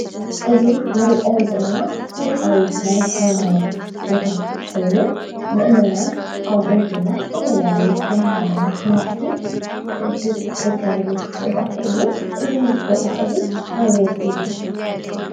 እዚ ንሪኦ ዘለና ታሪኻዊ ናይ ሃይማኖት ቦታ ኮይኑ ምእመናን ከምኡ ድማ ዝተፈላለዩ ናይ ሃይማኖት መራሕቲ ዝርከብሉ ቦታ እዩ፡፡ እዚ ቦታ እዚ ኣበይ እዩ?